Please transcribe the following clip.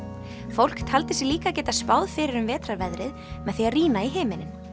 fólk taldi sig líka geta spáð fyrir um vetrarveðrið með því að rýna í himininn